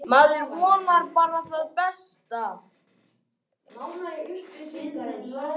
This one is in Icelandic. Maður vonar bara það besta.